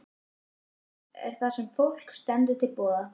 Svefnpláss er það sem fólki stendur til boða.